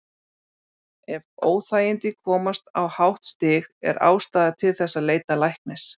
Ef óþægindin komast á hátt stig er ástæða til þess að leita læknis.